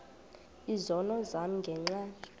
izono zam ngenxa